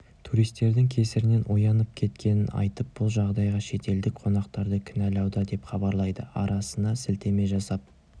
туристердің кесірінен оянып кеткенін айтып бұл жағдайға шетелдік қонақтарды кінәлауда деп хабарлайды арнасына сілтеме жасап